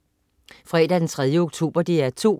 Fredag den 3. oktober - DR 2: